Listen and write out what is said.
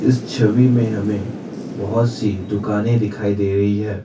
इस छवि में हमें बहुत सी दुकाने दिखाई दे रही है।